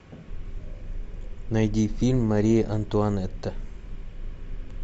найди фильм мария антуанетта